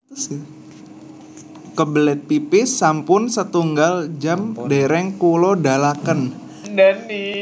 Kebelet pipis sampun setunggal jam dereng kulo dalaken